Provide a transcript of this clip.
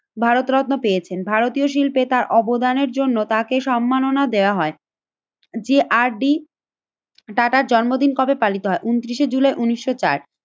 ভারতরত্ন পেয়েছেন। ভারতীয় শিল্পে তার অবদানের জন্য তাকে সম্মাননা দেয়া হয় যে আর ডি। টাটার জন্মদিন কবে পালিত হয়? ঊনত্রিশে জুলাই উন্নিশশো চার।